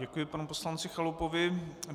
Děkuji panu poslanci Chalupovi.